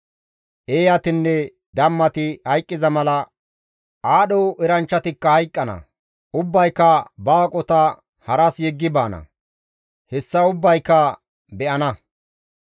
Eeyatinne dammati hayqqiza mala aadho eranchchatikka hayqqana; ubbayka ba aqota haras yeggi baana; hessa ubbayka be7ana.